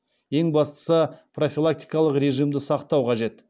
ең бастысы профилактикалық режимді сақтау қажет